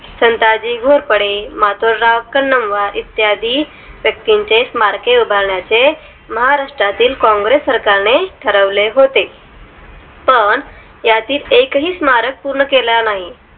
संताजी घोरपडे माथूरराव कन्नमवार इत्यादी व्यक्तींची स्मारके उभारण्या चे महाराष्ट्रातील काँग्रेस सरकारने ठरवले होते पण यातील एक ही स्मारक पूर्ण केला नाही